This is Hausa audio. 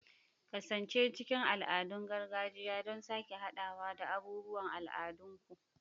Kasance cikin al'adun gargajiya don sake haɗawa da abubuwan al'adunku.